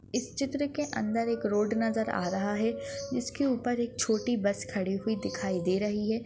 इस चित्र के अंदर एक रोड नजर आ रहा है। जिसके ऊपर एक छोटी बस खड़ी हुई दिखाई दे रही है।